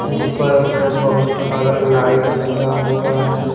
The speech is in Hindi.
ऊपर मे बहुत सारा लाइट लगा हुआ है।